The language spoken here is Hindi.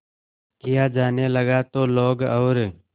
किया जाने लगा तो लोग और